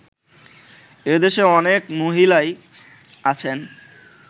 এদেশে অনেক মহিলাই আছেন